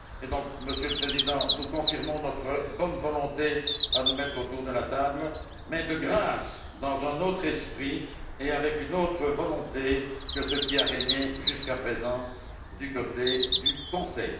Par conséquent, Monsieur le Président, nous confirmons notre bonne volonté à nous mettre autour de la table mais, de grâce, dans un autre esprit et avec une autre volonté que ceux qui ont régné jusqu'à présent du côté du Conseil.